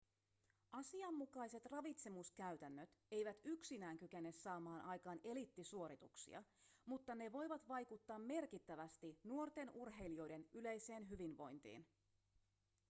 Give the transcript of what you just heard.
asianmukaiset ravitsemuskäytännöt eivät yksinään kykene saamaan aikaan eliittisuorituksia mutta ne voivat vaikuttaa merkittävästi nuorten urheilijoiden yleiseen hyvinvointiin